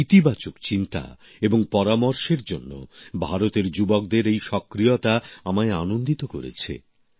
ইতিবাচক চিন্তা এবং পরামর্শের জন্য ভারতের যুবদের এই সক্রিয়তা আমায় আনন্দিত করেছে